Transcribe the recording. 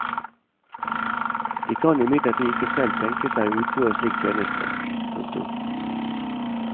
De kan imidlertid ikke selv tenke seg å utføre slik tjeneste. punktum